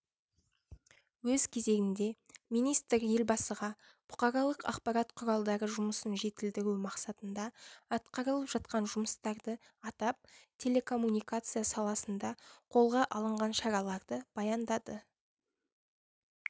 өз кезегінде министр елбасыға бұқаралық ақпарат құралдары жұмысын жетілдіру мақсатында атқарылып жатқан жұмыстарды атап телекоммуникация саласында қолға алынған шараларды баяндады